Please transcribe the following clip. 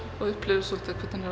og upplifi svolítið hvernig